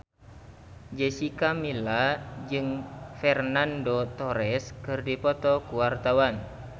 Jessica Milla jeung Fernando Torres keur dipoto ku wartawan